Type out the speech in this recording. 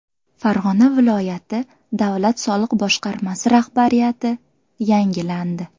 Farg‘ona viloyati Davlat soliq boshqarmasi rahbariyati yangilandi.